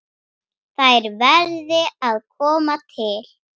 Þær verði að koma til.